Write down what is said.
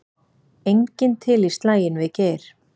Enginn til í slaginn við Geir